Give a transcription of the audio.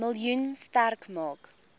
miljoen sterk maak